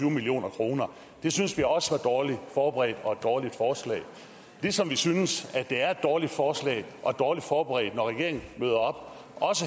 million kroner det synes vi også var dårligt forberedt og et dårligt forslag ligesom vi synes at det er et dårligt forslag og dårligt forberedt når regeringen møder op